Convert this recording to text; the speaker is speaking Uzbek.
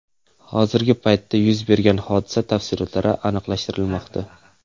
Hozirgi paytda yuz bergan hodisa tafsilotlari aniqlashtirilmoqda.